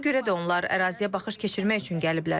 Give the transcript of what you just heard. Ona görə də onlar əraziyə baxış keçirmək üçün gəliblər.